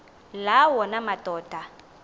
la wona amadoda